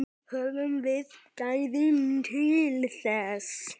Höfum við gæðin til þess?